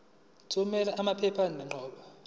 thumela amaphepha okuqala